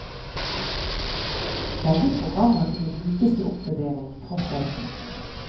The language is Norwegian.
Begge programmer kunne brukes til oppvurdering, tross alt.